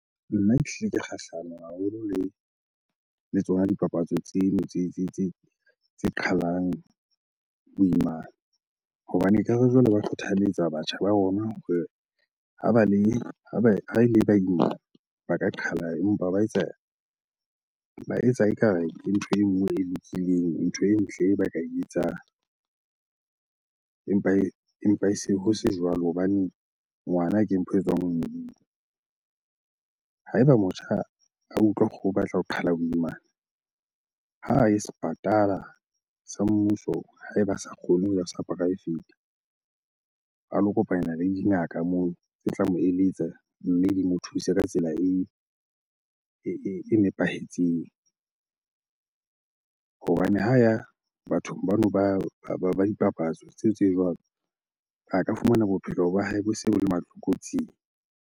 Nna ke ehlile ke kgahlano haholo le tsona dipapatso tseno tse qhalang boimana. Hobane ekare jwale ba kgothaletsa batjha ba rona hore ha ba le, ha ele ba imana ba ka qhala empa ba etsa ekare ke ntho e nngwe e lokileng, ntho e ntle e ba ka e etsang empa e se, ho se jwalo hobane ngwana ke mpho e tswang ho Modimo. Ha eba motjha a utlwa hore o batla ho qhala boimana, ha a ye sepatala sa mmuso ha eba a sa kgone ho ya ho sa poraefete. A lo kopana le dingaka moo tse tla mo eletsa mme di mo thuse ka tsela e nepahetseng. Hobane ha ya bathong bano ba dipapatso tseo tse jwalo, a ka fumana bophelo ba hae bo se bo le matlokotsing.